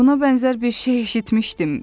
Buna bənzər bir şey eşitmişdim.